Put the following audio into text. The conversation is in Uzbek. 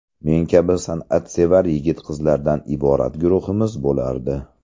Men kabi san’atsevar yigit-qizlardan iborat guruhimiz bo‘lardi.